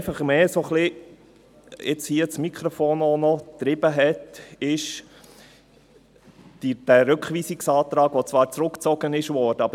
Was mich jetzt mehr ans Mikrofon getrieben hat, ist der Rückweisungsantrag, der zwar zurückgezogen wurde.